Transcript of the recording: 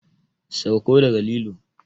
Sauko daga lilo!